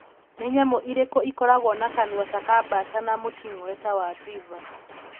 Nĩ nyamũ ĩrĩkũ ĩkoragwo na kanua ta ka bata na mũting'oe ta wa beaver